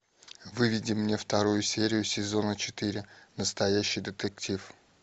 выведи мне вторую серию сезона четыре настоящий детектив